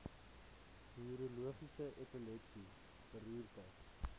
neurologies epilepsie beroerte